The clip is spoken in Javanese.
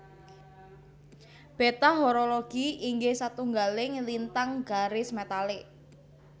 Beta Horologi inggih satunggaling lintang garis metalik